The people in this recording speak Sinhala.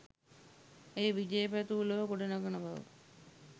ඇය විජය පැතූ ලොව ගොඩ නඟන බව